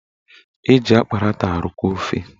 Eji akparata arụkọ ofe